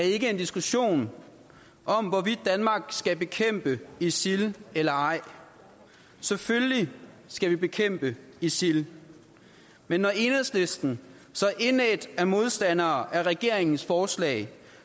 er ikke en diskussion om hvorvidt danmark skal bekæmpe isil eller ej selvfølgelig skal vi bekæmpe isil men når enhedslisten så indædt er modstandere af regeringens forslag